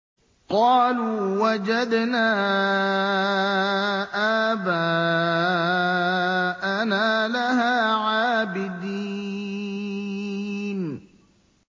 قَالُوا وَجَدْنَا آبَاءَنَا لَهَا عَابِدِينَ